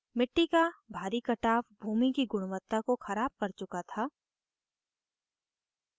मिट्टी का भारी कटाव भूमि की गुणवत्ता को ख़राब कर चुका था